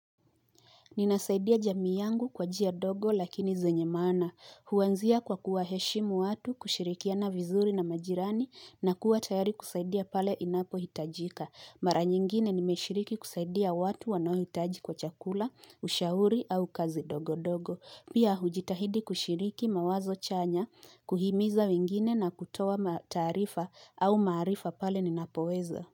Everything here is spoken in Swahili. Ninasaidia jamii yangu kwa njia ndogo lakini zenye maana. Huanzia kwa kuwaheshimu watu, kushirikiana vizuri na majirani na kuwa tayari kusaidia pale inapohitajika. Mara nyingine nimeshiriki kusaidia watu wanaohitaji kwa chakula, ushauri au kazi ndogo ndogo. Pia hujitahidi kushiriki mawazo chanya, kuhimiza wengine na kutoa mataarifa au maarifa pale ninapoweza.